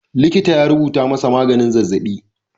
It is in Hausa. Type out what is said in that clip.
Likita ya rubuta masa maganin zazzaɓi.